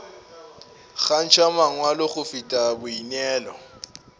kgantšha mangwalo go feta boineelo